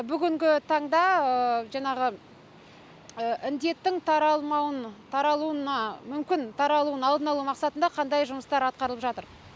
бүгінгі таңда жаңағы індеттің таралуының алдын алу мақсатында қандай жұмыстар атқарылып жатыр